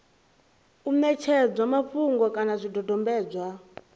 u ṋetshedzwa mafhungo kana zwidodombedzwa